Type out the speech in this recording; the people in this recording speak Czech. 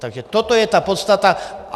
Takže toto je ta podstata.